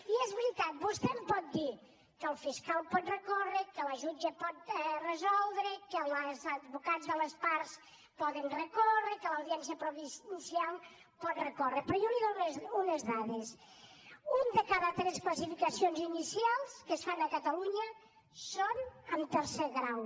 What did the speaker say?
i és veritat vostè em pot dir que el fiscal pot recórrer que la jutge pot resoldre que els advocats de les parts poden recórrer que l’audiència provincial pot recórrer però jo li dono unes dades una de cada tres classificacions inicials que es fan a catalunya són en tercer grau